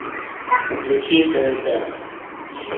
включи тнт